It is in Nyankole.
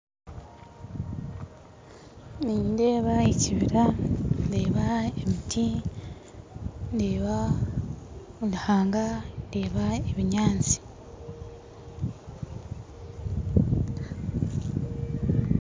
Nindeeba ekibira ndeeba emiti ndeeba oruhanga ndeeba ebinyantsi .